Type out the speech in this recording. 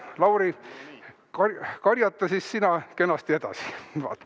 Lauri, karjata siis sina kenasti edasi!